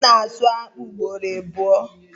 A na-asu akpụ ugboro abụo.